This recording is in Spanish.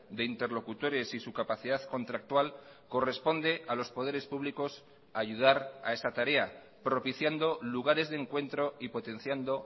de interlocutores y su capacidad contractual corresponde a los poderes públicos ayudar a esa tarea propiciando lugares de encuentro y potenciando